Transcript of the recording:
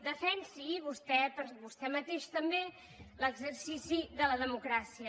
defensi vostè per a vostè mateix també l’exercici de la democràcia